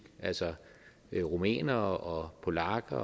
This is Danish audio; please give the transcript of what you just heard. altså rumænere polakker